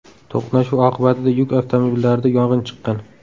To‘qnashuv oqibatida yuk avtomobillarida yong‘in chiqqan.